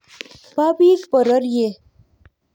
bo biik bororiet